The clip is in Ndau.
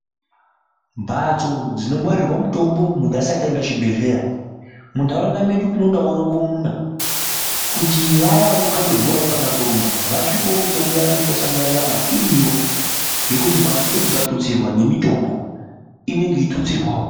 Mbhatso dzinomwarirwa mitombo muntu asati aenda kuchibhedhleya muntaraunda medu tinodawo rongomuna kuti vaya vanokhaba bhora kana kurumba vasvikewo mitombo yavo inotwasanura nyama iriyo ngekuti mbhatso idzodzo dzikatutsirwa nemitombo inenge yeitutsirwawo.